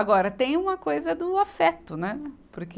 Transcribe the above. Agora, tem uma coisa do afeto, né porque.